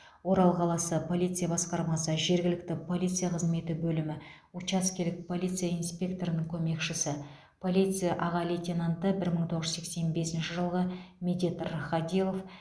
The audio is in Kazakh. орал қаласы полиция басқармасы жергілікті полиция қызметі бөлімі учаскелік полиция инспекторының көмекшісі полиция аға лейтенанты бір мың тоғыз жүз сексен бесінші жылғы медет рахадилов